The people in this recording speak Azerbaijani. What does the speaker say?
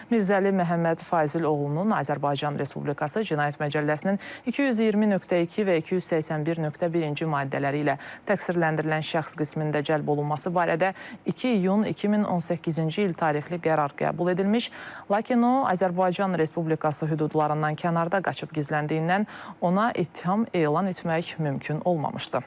Mirzəli Məhəmməd Fazil oğlunun Azərbaycan Respublikası Cinayət Məcəlləsinin 220.2 və 281.1-ci maddələri ilə təqsirləndirilən şəxs qismində cəlb olunması barədə 2 iyun 2018-ci il tarixli qərar qəbul edilmiş, lakin o, Azərbaycan Respublikası hüdudlarından kənarda qaçıb gizləndiyindən ona ittiham elan etmək mümkün olmamışdır.